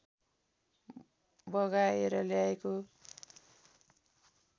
बगाएर ल्याएको